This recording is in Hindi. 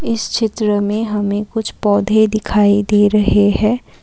इस चित्र में हमें कुछ पौधे दिखाई दे रहे है।